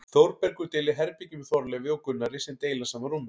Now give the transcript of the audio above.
Þórbergur deilir herbergi með Þorleifi og Gunnari sem deila sama rúmi.